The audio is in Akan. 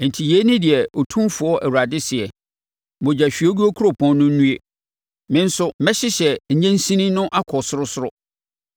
“ ‘Enti yei ne deɛ Otumfoɔ Awurade seɛ: “ ‘Mogyahwiegu kuropɔn no nnue! Me nso mɛhyehyɛ nnyensin no akɔ sorosoro.